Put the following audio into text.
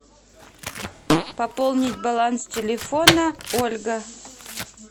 пополнить баланс телефона ольга